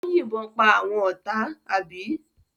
Ó yìnbọn pa àwọn ọ̀tá, àbí?